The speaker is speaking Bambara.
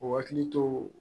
O hakili to